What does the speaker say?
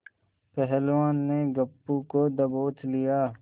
पहलवान ने गप्पू को दबोच लिया